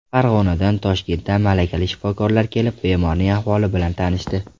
Farg‘onadan, Toshkentdan malakali shifokorlar kelib, bemorning ahvoli bilan tanishdi.